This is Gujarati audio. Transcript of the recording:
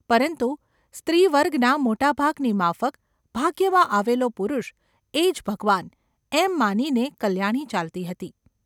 પરંતુ સ્ત્રીવર્ગના મોટા ભાગની માફક ભાગ્યમાં આવેલો પુરુષ એ જ ભગવાન એમ માનીને કલ્યાણી ચાલતી હતી.